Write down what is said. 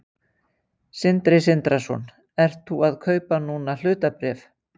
Sindri Sindrason: Ert þú að kaupa núna hlutabréf?